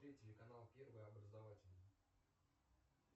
телеканал первый образовательный